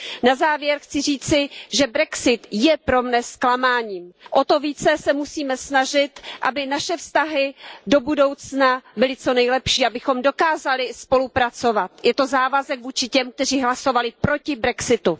Na závěr chci říci, že brexit je pro mne zklamáním, o to více se musíme snažit, aby naše vztahy do budoucna byly co nejlepší, abychom dokázali spolupracovat, je to závazek vůči těm, kteří hlasovali proti brexitu.